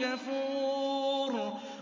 كَفُورٍ